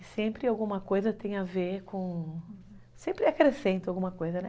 E sempre alguma coisa tem a ver com... sempre acrescento alguma coisa, né?